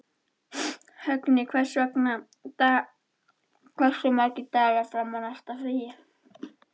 Högni, hversu margir dagar fram að næsta fríi?